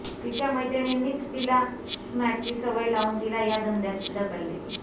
तिच्या मैत्रिणींनीच तिला स्मॅकची सवय लावून तिला या धंद्यात ढकलले